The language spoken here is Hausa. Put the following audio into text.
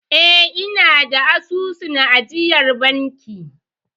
Eh, ina da asusun ajiyar banki.